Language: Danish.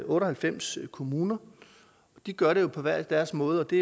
otte og halvfems kommuner og de gør det jo på hver deres måde det